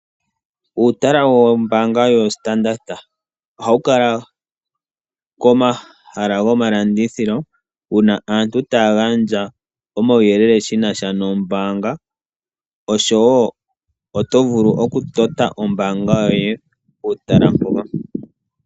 Uutala wombaanga yoStandard. Ohawu kala komahala gomalandithilo uuna aantu taya gandja omauyelele shi na sha nombaanga noto vulu okupatulula omayalulo goye gombaanga puutala mpoka.